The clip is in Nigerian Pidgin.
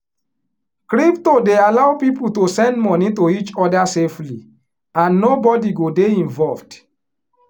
crypto dey allow people to send money to each other safely and nobody go dey involved